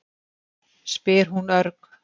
spyr hún örg.